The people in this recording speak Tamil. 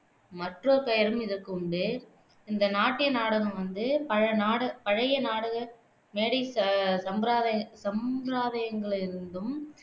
மற்றோர் பெயரும் இதற்கு உண்டு இந்த நாட்டிய நாடகம் வந்து பழைய நாட பழைய நாடக மேடைச் ச சம்பிராதய சம்பிரதாயங்களிலிருந்தும்